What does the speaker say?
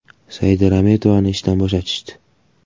Saida Rametovani ishdan bo‘shatishdi.